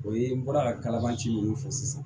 O ye n bɔra ka kalaban ci minnu fɔ sisan